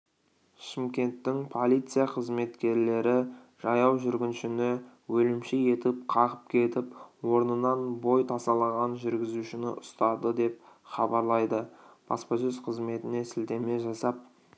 шымкенттің полиция қызметкерлері жаяу жүргіншіні өлімші етіп қағып кетіп орнынан бой тасалаған жүргізушіні ұстады деп хабарлайды баспасөз-қызметіне сілтеме жасап